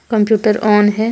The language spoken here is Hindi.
कम्प्यूटर ऑन है।